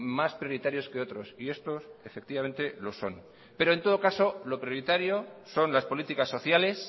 más prioritarios que otros y estos efectivamente lo son pero en todo caso lo prioritario son las políticas sociales